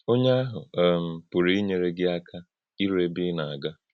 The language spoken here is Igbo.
Ọ́nyē áhụ̄ um pụ̀rụ̄ ínyèrè́ gị àkà írù̄ ébè̄ ị́ nā-àgà.